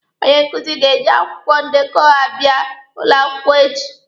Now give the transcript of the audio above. Onye nkuzi ga-eji akwụkwọ ndekọ abịa ụlọ akwụkwọ echi.